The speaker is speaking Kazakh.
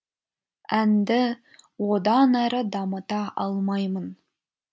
әнді одан әрі дамыта алмаймын